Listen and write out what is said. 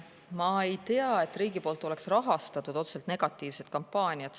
Ma ei tea, et riik oleks rahastanud otseselt negatiivset kampaaniat.